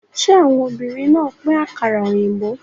Ṣé àwọn obìnrin náà pín àkàrà òyìnbó?